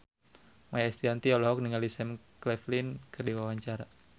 Maia Estianty olohok ningali Sam Claflin keur diwawancara